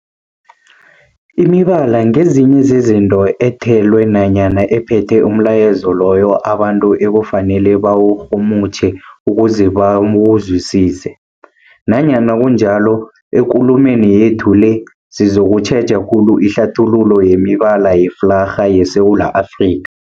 Imibala ngezinye zezinto ethelwe nanyana ephethe umlayezo loyo abantu ekufanele bawurhumutjhe ukuze bawuzwisise. Nanyana kunjalo, ekulumeni yethu le sizokutjheja khulu ihlathululo yemibala yeflarha yeSewula Afrika.